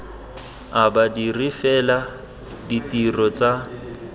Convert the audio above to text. a badiri fela ditiro tsa